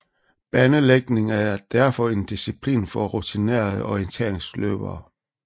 Banelægning er derfor en disciplin for rutinerede orienteringsløbere